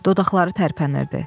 dodaqları tərpənirdi.